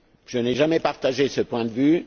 Je n'ai jamais partagé ce point de vue.